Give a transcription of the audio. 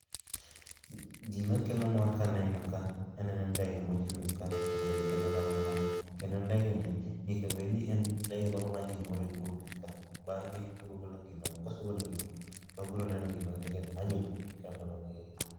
Gima kelo mor kaneno ka, aneno ndege mochung'ka. To ndege kelo ga mor, kendo ndege ni, nyaka bed ni en ndege ma manyo gimoro e bwo pi ka. Bang'e to obiro golo gino oko kosegolo to wabiro neno gima ndege ndege no dwaro e bwo pi ka.